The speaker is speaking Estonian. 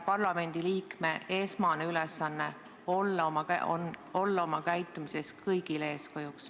Parlamendiliikme esmane ülesanne on olla oma käitumises kõigile eeskujuks.